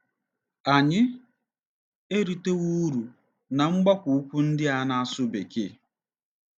Anyị eritewo uru ná mgbakọ ukwu ndị a na-asụ Bekee.